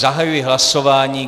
Zahajuji hlasování.